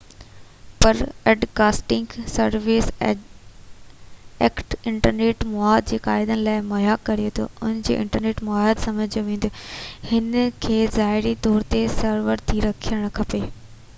broadcasting services act internet مواد جي قاعدن لاءِ مهيا ڪري ٿو ان ڪري انٽرنيٽ مواد سمجهيو وڃي هن کي ظاهري طور تي سرور تي رهڻ کپي